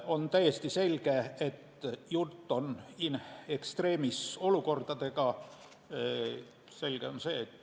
On täiesti selge, et jutt on in extremis olukordadest.